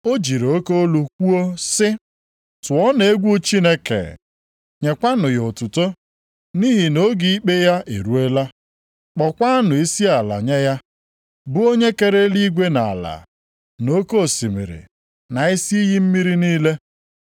O jiri oke olu kwuo sị, “Tụọnụ egwu Chineke, nyekwanụ ya otuto, nʼihi na oge ikpe ya eruola. Kpọọkwanụ isiala nye ya, bụ onye kere eluigwe na ala, na oke osimiri na isi iyi mmiri niile.”